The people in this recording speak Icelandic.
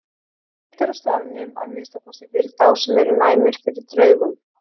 Reimt er á staðnum, að minnsta kosti fyrir þá sem eru næmir fyrir draugum.